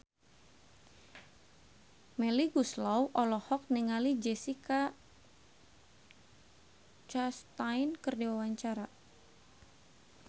Melly Goeslaw olohok ningali Jessica Chastain keur diwawancara